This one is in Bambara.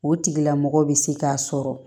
O tigilamɔgɔ bɛ se k'a sɔrɔ